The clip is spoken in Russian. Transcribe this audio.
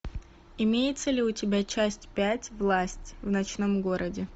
имеется ли у тебя часть пять власть в ночном городе